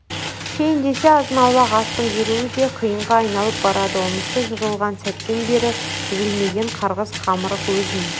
ішейін десе азын-аулақ астың жүруі де қиынға айналып барады онысы жығылған сәттен бері үзілмеген қарғыс-қамырық өзін